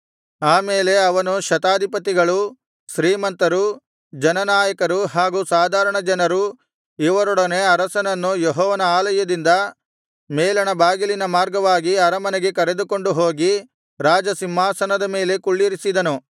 ಆಮೇಲೆ ಅವನು ಶತಾಧಿಪತಿಗಳು ಶ್ರೀಮಂತರು ಜನನಾಯಕರು ಹಾಗೂ ಸಾಧಾರಣ ಜನರು ಇವರೊಡನೆ ಅರಸನನ್ನು ಯೆಹೋವನ ಆಲಯದಿಂದ ಮೇಲಣ ಬಾಗಿಲಿನ ಮಾರ್ಗವಾಗಿ ಅರಮನೆಗೆ ಕರೆದುಕೊಂಡು ಹೋಗಿ ರಾಜಸಿಂಹಾಸನದ ಮೇಲೆ ಕುಳ್ಳಿರಿಸಿದನು